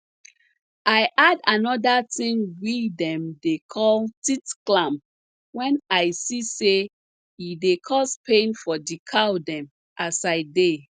i add anoda ting we dem dey call teat clamp wen i see say e dey cause pain for di cow dem as i dey